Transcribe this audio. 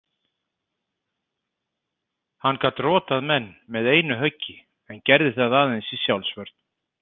Hann gat rotað menn með einu höggi en gerði það aðeins í sjálfsvörn.